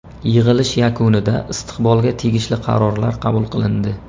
Yig‘ilish yakunida istiqbolga tegishli qarorlar qabul qilindi.